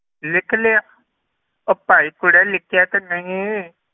ਲਿਖ ਲਿਆ ਉਹ ਭਾਈ ਕੁੜੇ ਲਿਖਿਆ ਕਿ ਨਹੀਂ